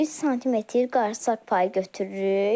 3 sm qarısaq payı götürürük.